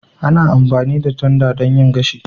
Ana amfani da tanda don yin gashi